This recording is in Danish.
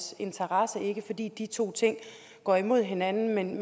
interesse ikke fordi de to ting går imod hinanden men